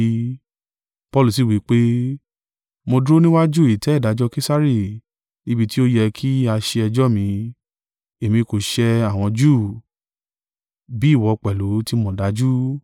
Paulu sì wí pé, “Mo dúró níwájú ìtẹ́ ìdájọ́ Kesari níbi tí ó yẹ kí a ṣe ẹjọ́ mí: èmi kò ṣẹ àwọn Júù, bí ìwọ pẹ̀lú ti mọ̀ dájú.